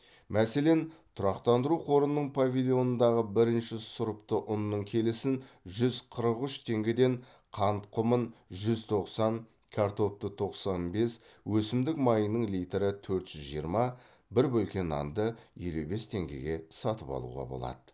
мәселен тұрақтандыру қорының павильонындағы бірінші сұрыпты ұнның келісін жүз қырық үш теңгеден қант құмын жүз тоқсан картопты тоқсан бес өсімдік майының литрі төрт жүз жиырма бір бөлке нанды елу бес теңгеге сатып алуға болады